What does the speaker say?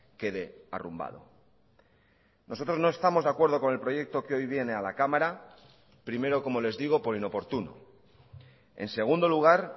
quede arrumbado nosotros no estamos de acuerdo con el proyecto que hoy viene a la cámara primero como les digo por inoportuno en segundo lugar